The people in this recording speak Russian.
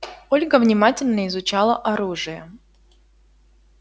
ольга внимательно изучала оружие